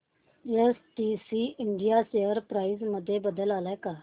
STC India share price मध्ये बदल आलाय का